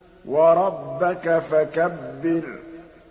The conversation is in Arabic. وَرَبَّكَ فَكَبِّرْ